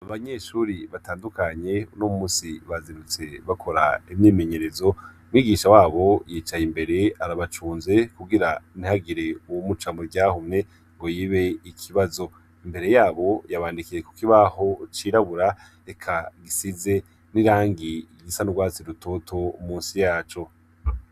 Abanyeshure batandukanye uno munsi bazindutse bakora imyimenyerezo umwigisha wabo yicaye imbere arabacunze kugira ntihagire uwumuca mu ryahumye ngo yibe ikibazo. Imbere yabo yabandikiye ku kibaho cirabura eka gisize n'irangi risa n'urwatsi rutoto munsi yaco.